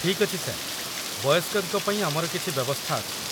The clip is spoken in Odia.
ଠିକ୍ ଅଛି, ସାର୍। ବୟସ୍କଙ୍କ ପାଇଁ ଆମର କିଛି ବ୍ୟବସ୍ଥା ଅଛି।